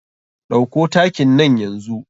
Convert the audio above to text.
Ɗauko takin nan yanzu.